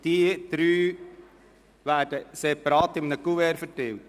Diese drei werden separat in einem Kuvert verteilt.